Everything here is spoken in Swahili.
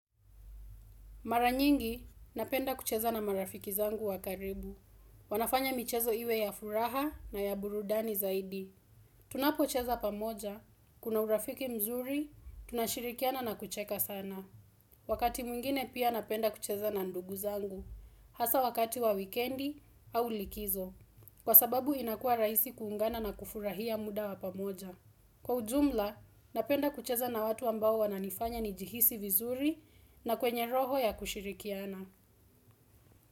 Maranyingi, napenda kucheza na marafiki zangu wa karibu. Wanafanya michezo iwe ya furaha na ya burudani zaidi. Tunapocheza pamoja, kuna urafiki mzuri, tunashirikiana na kucheka sana. Wakati mwingine pia napenda kucheza na ndugu zangu. Hasa wakati wa wikendi au likizo. Kwa sababu inakuwa rahisi kuungana na kufurahia muda wa pamoja. Kwa ujumla, napenda kucheza na watu ambao wananifanya nijihisi vizuri na kwenye roho ya kushirikiana.